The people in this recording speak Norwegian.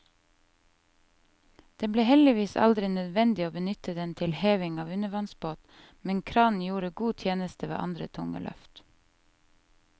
Det ble heldigvis aldri nødvendig å benytte den til heving av undervannsbåt, men kranen gjorde god tjeneste ved andre tunge løft.